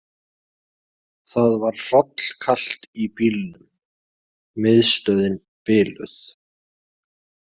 Það var hrollkalt í bílnum, miðstöðin biluð.